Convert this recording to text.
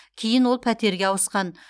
кейін ол пәтерге ауысқан